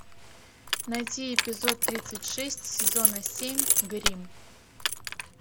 найти эпизод тридцать шесть сезона семь грим